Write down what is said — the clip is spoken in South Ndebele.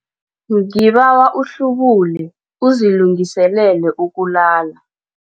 Ngibawa uhlubule uzilungiselele ukulala.